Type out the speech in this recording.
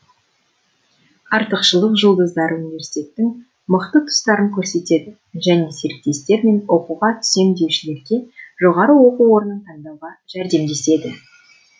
артықшылық жұлдыздары университеттің мықты тұстарын көрсетеді және серіктестер мен оқуға түсем деушілерге жоғары оқу орнын таңдауға жәрдемдеседі